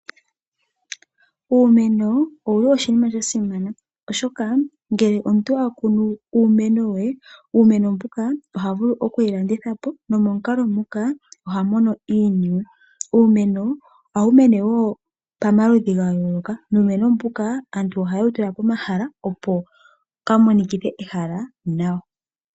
Uumeno owuli oshinima sha shimana, oshoka ngele omuntu wa kunu uumeno woye, uumeno mbuka oha vulu okuwu landitha po nomomukalo muka oha mono iiniwe. Uumeno wo ohawu mene pamaludhi ga yooloka nuumeno mbuka aantu ohaye wu tula pomahala, opo ka mo nikithe ehala nawa.